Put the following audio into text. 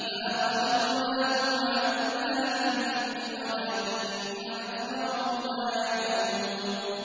مَا خَلَقْنَاهُمَا إِلَّا بِالْحَقِّ وَلَٰكِنَّ أَكْثَرَهُمْ لَا يَعْلَمُونَ